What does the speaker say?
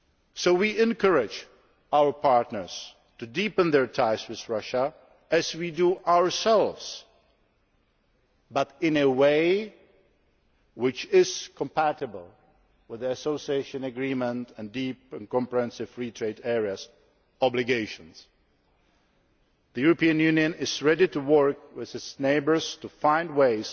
So we encourage our partners to deepen their ties with Russia, as we do ourselves, but in a way which is compatible with the association agreement and deep and comprehensive free trade areas' obligations. The European Union is ready to work with its neighbours to find